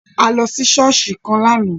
A lọ sí ṣọ̀ọ́sì kan lààná